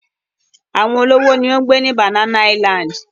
Àwọn olówó ni ó ń gbé ní Banana Island.